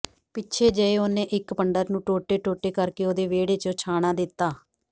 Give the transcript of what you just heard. ਪਿੱਛੇ ਜਿਹੇ ਓਹਨੇ ਇਕ ਪੰਡਤ ਨੂੰ ਟੋਟੇ ਟੋਟੇ ਕਰਕੇ ਓਹਦੇ ਵਿਹੜੇ ਚ ਛਾਣਾ ਦੇਤਾ